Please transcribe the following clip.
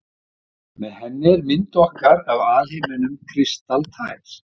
Með henni er mynd okkar af alheiminum kristaltær.